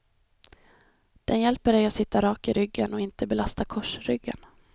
Den hjälper dig att sitta rak i ryggen och inte belasta korsryggen.